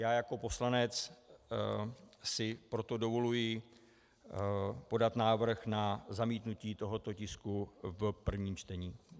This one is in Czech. Já jako poslanec si proto dovoluji podat návrh na zamítnutí tohoto tisku v prvním čtení.